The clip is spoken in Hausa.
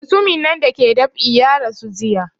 Mutumin nan da ke dab'i ya rasu jiya